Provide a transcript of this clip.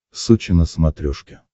сочи на смотрешке